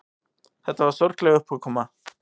Þetta var sorgleg uppákoma.